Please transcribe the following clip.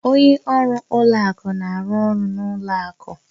Onye ọrụ ụlọ akụ na-arụ ọrụ n'ụlọ akụ